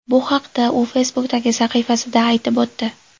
Bu haqda u Facebook’dagi sahifasida aytib o‘tdi .